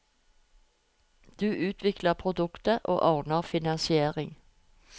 Du utvikler produktet, og ordner finansiering.